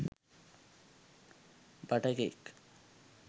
butter cake